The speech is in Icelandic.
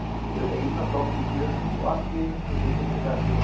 Þau ein á gangi í fjörunni og allt í einu þessi hryllilega sjón.